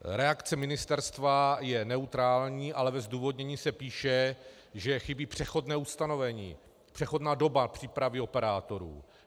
Reakce ministerstva je neutrální, ale ve zdůvodnění se píše, že chybí přechodné ustanovení, přechodná doba přípravy operátorů.